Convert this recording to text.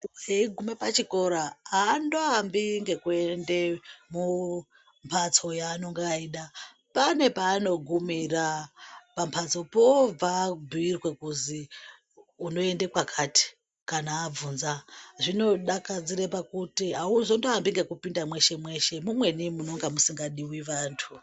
Munthu eigume pachikora aandoambi ekuenda mumbhatso yaanenge eida pane paanogumira pambhatsopo obva abhuirwa kuti unoende kwakati kana abvunza zvinodakadzire pakuti auzoambi ekupinda mweshe mweshe mumweni munonga musikadiwi vanthu.